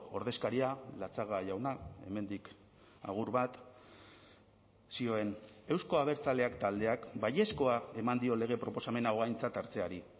ordezkaria latxaga jauna hemendik agur bat zioen euzko abertzaleak taldeak baiezkoa eman dio lege proposamen hau aintzat hartzeari